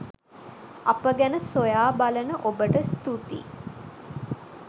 අප ගැන සොයාබලන ඔබට ස්තුතියි.